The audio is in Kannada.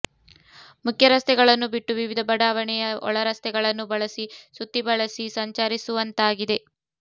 ಮುಖ್ಯ ರಸ್ತೆಗಳನ್ನು ಬಿಟ್ಟು ವಿವಿಧ ಬಡಾವಣೆಯ ಒಳರಸ್ತೆಗಳನ್ನು ಬಳಸಿ ಸುತ್ತಿಬಳಸಿ ಸಂಚರಿಸುವಂತಾಗಿದೆ